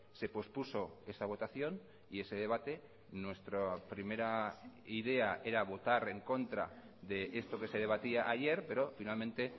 se pospuso esa votación y ese debate nuestra primera idea era votar en contra de esto que se debatía ayer pero finalmente